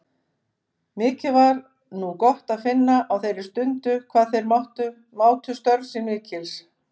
Mikið var nú gott að finna á þeirri stundu hvað þeir mátu störf mín mikils.